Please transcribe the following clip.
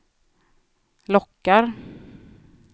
lockar